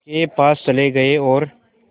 के पास चले गए और